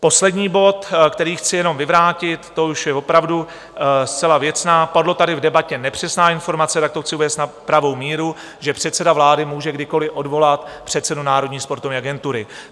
Poslední bod, který chci jenom vyvrátit, to už je opravdu zcela věcná, padla tady v debatě nepřesná informace, tak to chci uvést na pravou míru, že předseda vlády může kdykoliv odvolat předsedu Národní sportovní agentury.